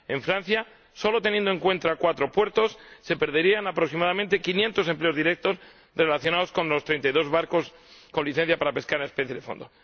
en Francia, solo teniendo en cuenta cuatro puertos, se perderían, aproximadamente, quinientos empleos directos relacionados con los treinta y dos barcos con licencia para pescar especies de fondo